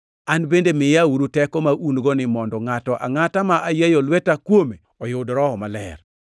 “An bende miyaeuru teko ma un-goni mondo ngʼato angʼata ma ayieyo lweta kuome oyud Roho Maler.”